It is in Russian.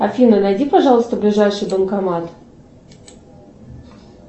афина найди пожалуйста ближайший банкомат